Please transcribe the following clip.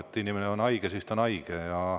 Kui inimene on haige, siis ta on haige.